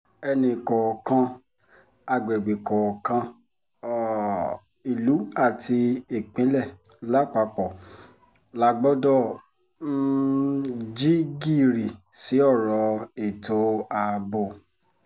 ẹnìkọ̀ọ̀kan àgbègbè kọ̀ọ̀kan um ìlú àti ìpínlẹ̀ lápapọ̀ la gbọ́dọ̀ um jí gìrì sí ọ̀rọ̀ ètò ààbò